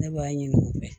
Ne b'a ɲini u fɛ